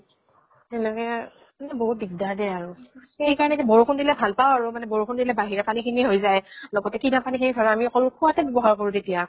সেনেকে বহুত দিগ্দাৰ দে আৰু। সেই কাৰণে কি বৰষুন দিলে ভাল পাওঁ আৰু । বৰষুন দিলে বাহিৰা পানী খিনি হৈ যায়। লগতে কিনা পানী শেষ কৰো আমি অকল খোৱাতে ব্য়ৱ্হাৰ কৰো তেতিয়া